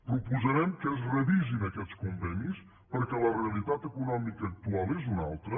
proposarem que es revisin aquests convenis perquè la realitat econòmica actual és una altra